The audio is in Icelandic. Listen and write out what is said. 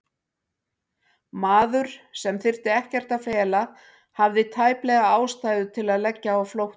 Maður, sem þyrfti ekkert að fela, hafði tæplega ástæðu til að leggja á flótta?